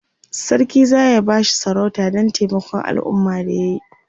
sarki zaya bashi sarauta Dan taimakon alumma da yayi